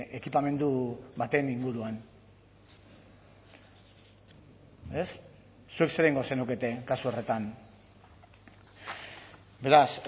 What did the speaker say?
ekipamendu baten inguruan zuek zer egingo zenukete kasu horretan beraz